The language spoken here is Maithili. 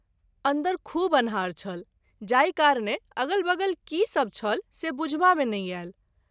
अंदर खूब अन्हार छल जाहि कारणे अगल बगल की सभ छल से बुझबा मे नहि आयल।